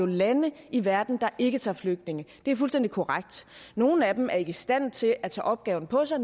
lande i verden der ikke tager imod flygtninge det er fuldstændig korrekt nogle af dem er ikke i stand til at tage opgaven på sig